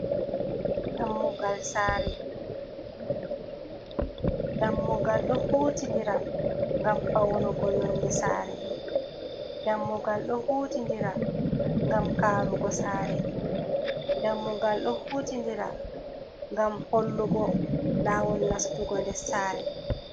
Dammugal sare. Dammugal ɗo hutindira ngam faunugo yonde sare ngam karugo sare dammugal do hutindira gam hollugo lawol nastugo nder sare.